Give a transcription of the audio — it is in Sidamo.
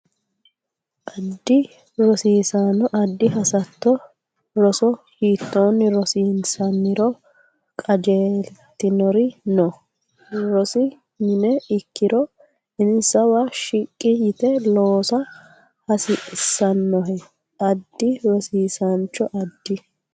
Addi rosiisaano addi hasatto roso hiittoonni rosiinsanniro qajeeltinori noo rosi mine ikkiro insawa shiqqi yite loosa hasiissannohe Addi rosiisaano addi.